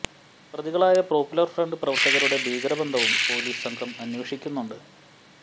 പ്രതികളായ Popular Front പ്രവര്ത്തകരുടെ ഭീകര ബന്ധവും പോലീസ് സംഘം അന്വേഷിക്കുന്നുണ്ട്്